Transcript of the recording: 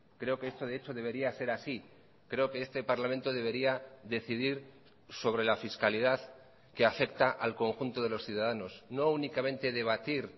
creo que esto de hecho debería ser así creo que este parlamento debería decidir sobre la fiscalidad que afecta al conjunto de los ciudadanos no únicamente debatir